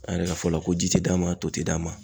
A yɛrɛ ka fɔla ko ji ti d'a ma to ti d'a ma.